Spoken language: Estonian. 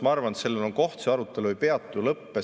Ma arvan, et see arutelu ei peatu, ei lõppe.